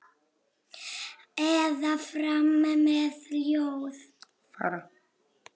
Eða fara með ljóð.